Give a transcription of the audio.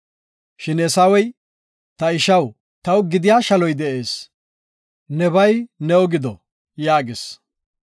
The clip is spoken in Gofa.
Shin Eesawey, “Ta ishaw, taw gidiya shaloy de7ees, nebay new gido” yaagis.